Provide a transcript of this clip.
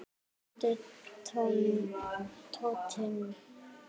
Komdu Tóti.